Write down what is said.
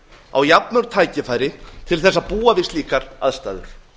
á jafnmörg tækifæri til þess að búa við slíkar aðstæður